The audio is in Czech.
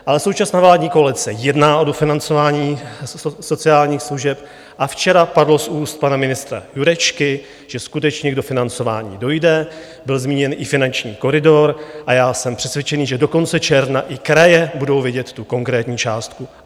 Ale současná vládní koalice jedná o dofinancování sociálních služeb a včera padlo z úst pana ministra Jurečky, že skutečně k dofinancování dojde, byl zmíněn i finanční koridor, a já jsem přesvědčený, že do konce června i kraje budou vědět tu konkrétní částku.